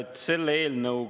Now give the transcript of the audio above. Suur tänu, härra eesistuja!